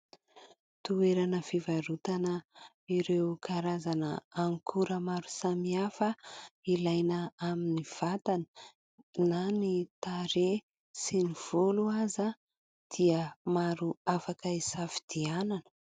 Toerana fivarotana ireo karazana ankora maro samihafa ilaina amin'ny vatana na ny tarehy sy ny volo aza dia maro afaka isafidianana